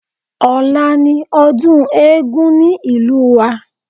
Ọ̀la ni ọdún eégún ní ìlú wa